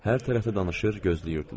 Hər tərəfi danışır, gözləyirdilər.